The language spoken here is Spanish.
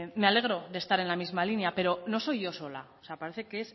me alegro de estar en la misma línea pero no soy yo sola o sea parece que